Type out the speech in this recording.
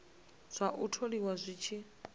zwa u tholiwa zwi tshi